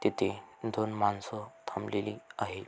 तिथे दोन माणस थांबलेली आहे.